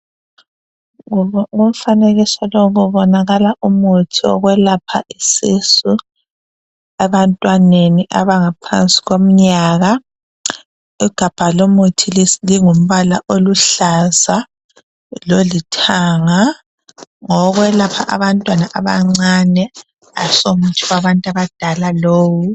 Kumfanekiso lowu kubonakala umuthi wokwelapha isisu ebantwaneni abangaphansi komnyaka ,igabha lomuthi lingumbala oluhlaza lolithanga ,ngowokwelapha abantwana abancane aso muthi wabantu badala lowu.